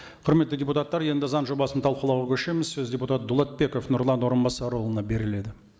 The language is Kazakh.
құрметті депутаттар енді заң жобасын талқылауға көшеміз сөз депутат дулатбеков нұрлан орынбасарұлына беріледі